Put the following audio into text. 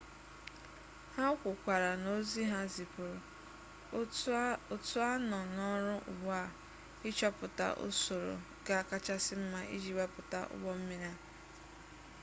ha kwukwara n'ozi ha zipuru otu a nọ n'ọrụ ugbu a ịchọpụta usoro ga-akachasị mma iji wepụta ụgbọ mmiri a